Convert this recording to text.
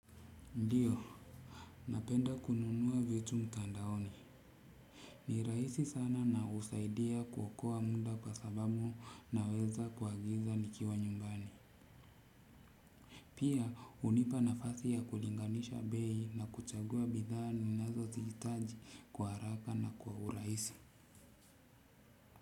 Ndiyo napenda kununua vitu mtandaoni ni rabisi sana na husaidia kuokoa muda kwa sababu naweza kuagiza nikiwa nyumbani pia hunipa nafasi ya kulinganisha bei na kuchagua bidhaa ninazo zihitaji kwa haraka na kwa urahisi.